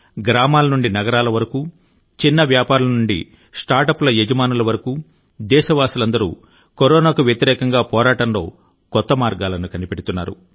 గ్రామాల నుండి నగరాల వరకు చిన్న వ్యాపారుల నుండి స్టార్టప్ సంస్థల యజమానుల వరకు దేశవాసులందరూ కరోనాకు వ్యతిరేకంగా పోరాటంలో కొత్త మార్గాలను కనిపెడుతున్నారు